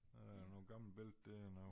Øh noget gammelt billede der nu